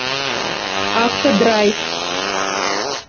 автодрайв